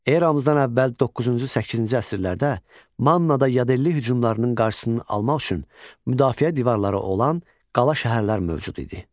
Eramızdan əvvəl doqquuncu-səkkizinci əsrlərdə Mannada yadelli hücumlarının qarşısının almaq üçün müdafiə divarları olan qala şəhərlər mövcud idi.